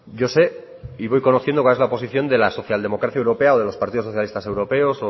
yo sé y voy conociendo cuál es la posición de la socialdemocracia europea o de los partidos socialistas europeos